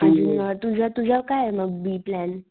अजून तुझं तुझा काये बी प्लॅन?